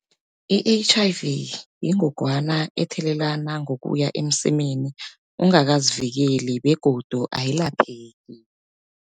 I-H_I_V yingogwana ethelelana ngokuya emsemeni ungakazivikeli begodu ayilapheki.